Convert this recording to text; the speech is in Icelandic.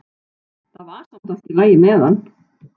Það var samt allt í lagi með hann.